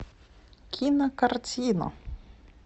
кинокартина